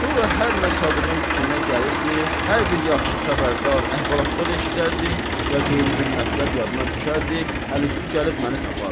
Sonra hər nə Sadığın fikrinə gəlirdi, hər bir yaxşı xəbərdar əhvalatlar eşidərdi, ya qeyri bir mətləb yadına düşərdi, əl üstü gəlib məni tapardı.